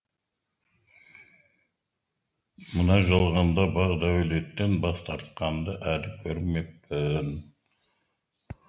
мына жалғанда бақ дәулеттен бас тартқанды әлі көрмеппін